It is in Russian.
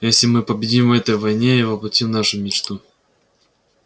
если мы победим в этой войне и воплотим нашу мечту